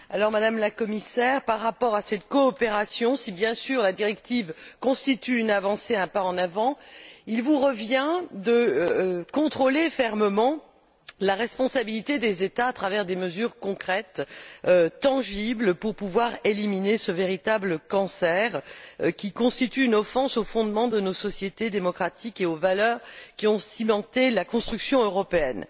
Madame la Commissaire, en ce qui concerne cette coopération, si bien sûr la directive constitue une avancée, un pas en avant, il vous revient de contrôler fermement la responsabilité des États à travers des mesures concrètes, tangibles, pour pouvoir éliminer ce véritable cancer qui constitue une offense aux fondements de nos sociétés démocratiques et aux valeurs qui ont cimenté la construction européenne.